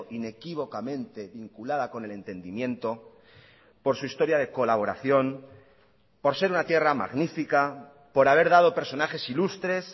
inequívocamente vinculada con el entendimiento por su historia de colaboración por ser una tierra magnífica por haber dado personajes ilustres